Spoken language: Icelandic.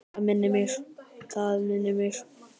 Það minnir mig.